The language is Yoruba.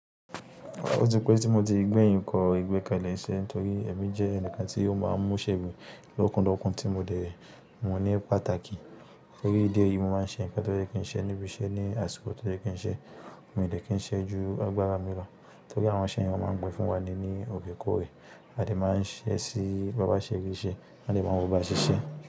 Ó ti pẹ́ tí mo ti gbẹ̀yìn kọ ìgbẹ́kẹ̀lé iṣẹ́ torí ẹ̀mí jẹ́ ẹnìkan tí ó máa ń mú ṣèmi lókun lókun tí mo dẹ̀ ń mú ní pàtàkì. Torí ìdí èyí, mo máa ń ṣe ǹkan tó jẹ́ kí n ṣe níbi iṣẹ́ ní àsìkò tó jẹ́ kí n ṣe, mio dẹ̀ kí n ṣe ju agbára mi lọ torí àwọn òǹṣẹ̀ yen máa ń gbẹ̀ fún wa ni ní òrè kórè. A dè máa ń ṣẹ́ sí bàbá ṣe rì í ṣe? A dè máa ń wo bàbá ṣe ṣe.